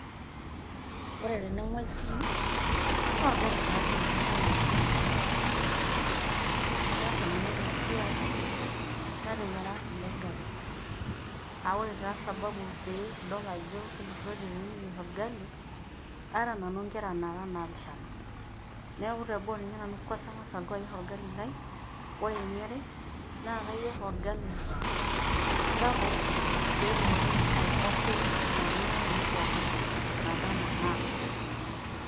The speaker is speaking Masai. Ore tene oji naa orgali taadoi ele loyiaritai tene oji. Ataasa nanu ena siai nateyiara ele gali, aa ore taa sababu peyie idol ajo kintururote tenikiyeir orgali, aata nanu ingera naara naapishana neeku teboo naa kwasa angas nanu alotu ayier orgali lai. Ore eniare naa kayier orgali sapuk pee etumoki aitashoki inaduo kera ainei pookin naaba anaa inaata.